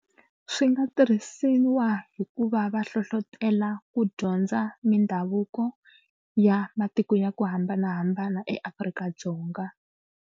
Swi nga tirhisiwa hi ku va va hlohlotelo ku dyondza mindhavuko ya matiko ya ku hambanahambana eAfrika-Dzonga.